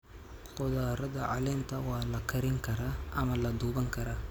Khudradda caleenta waa la karin karaa ama la duban karaa.